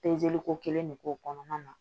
ko kelen de k'o kɔnɔna na